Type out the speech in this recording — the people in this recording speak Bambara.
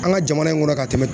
An ka jamana in kɔnɔ ka tɛmɛn